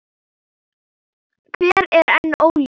Hver er enn óljóst.